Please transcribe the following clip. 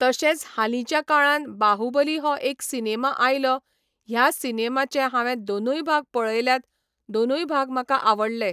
तशेंच हालींच्या काळान बाहुबली हो एक सिनेमा आयलो ह्या सिनेमाचे हांवें दोनूय भाग पळयल्यात दोनूय भाग म्हाका आवडले.